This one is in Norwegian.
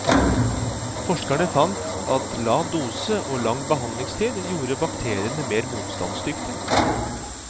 Forskerne fant at lav dose og lang behandlingstid gjorde bakteriene mer motstandsdyktige.